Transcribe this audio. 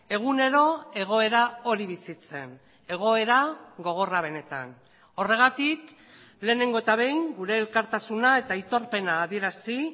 egunero egoera hori bizitzen egoera gogorra benetan horregatik lehenengo eta behin gure elkartasuna eta aitorpena adierazi